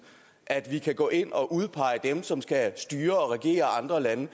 at vi kan gå ind og udpege dem som skal styre og regere andre lande